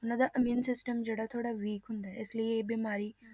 ਉਹਨਾਂ ਦਾ immune system ਜਿਹੜਾ ਥੋੜ੍ਹਾ weak ਹੁੰਦਾ ਹੈ, ਇਸ ਲਈ ਇਹ ਬਿਮਾਰੀ